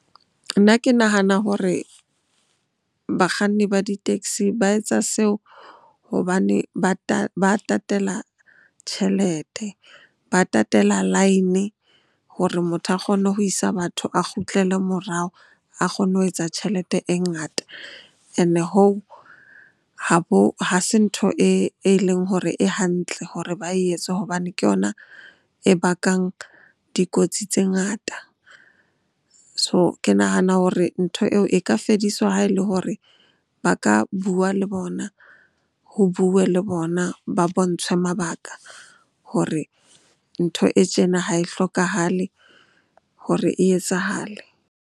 Nna ke nahana hore bakganni ba di-taxi ba etsa seo hobane ba tatela tjhelete, ba tatela line hore motho a kgone ho isa batho a kgutlele morao. A kgonne ho etsa tjhelete e ngata and hoo ha se ntho e leng hore e hantle hore ba e etse hobane ke yona e bakang dikotsi tse ngata. So, ke nahana hore ntho eo e ka fediswa ha e le hore ba ka bua le bona, ho bue le bona, ba bontshwe mabaka hore ntho e tjena ha e hlokahale hore e etsahale.